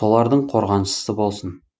солардың қорғаншысы болсын